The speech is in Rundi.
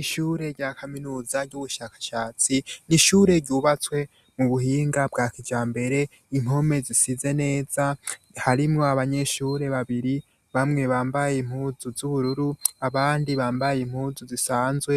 Ishure rya kaminuza ry'ubushakashatsi nishure ryubatswe mu buhinga bwa kiryambere impome zisize neza harimo abanyeshure babiri bamwe bambaye impuzu z'ubururu abandi bambaye impuzu zisanzwe